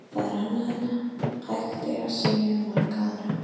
Það er annað en hægt er að segja um marga aðra.